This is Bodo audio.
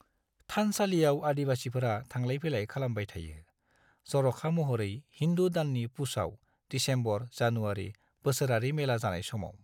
थानसालियाव आदिवासिफोरा थांलाय-फैलाय खालामबाय थायो, जर'खा महरै हिन्दु दाननि पुछआव (दिसेम्बर-जानुवारि) बोसोरारि मेला जानाय समाव।